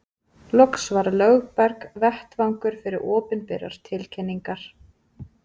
Loks var Lögberg vettvangur fyrir opinberar tilkynningar.